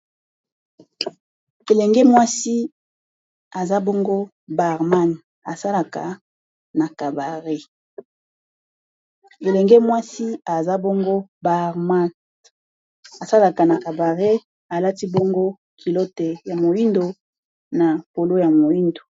elenge mwasi aza bongo na bar asalaka na cabare alati bongo kilote ya moindo na polo ya moindo